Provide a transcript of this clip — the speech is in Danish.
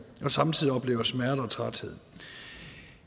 og samtidig oplever smerte og træthed